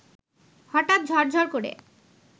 হঠাৎ ঝরঝর করে